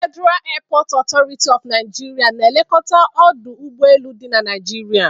Federal Airport Authority of Naijiria na-elekọta ọdụ ụgbọ elu dị na Naijiria.